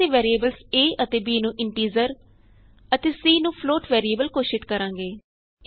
ਪਹਿਲਾਂ ਅਸੀਂ variables a ਅਤੇ b ਨੂੰ ਇੰਟੀਜ਼ਰ ਅਤੇ c ਨੂੰ ਫਲੋਟ ਵੈਰੀਏਬਲ ਘੋਸ਼ਿਤ ਕਰਾਂਗੇ